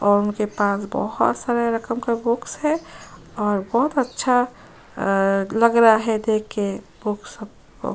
और मेरे पास बहुत सारे रकम का बॉक्स है और बहुत अच्छा लग रहा है देखकर बॉक्स को --